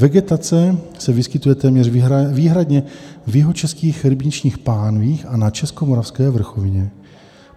Vegetace se vyskytuje téměř výhradně v jihočeských rybničních pánvích a na Českomoravské vrchovině.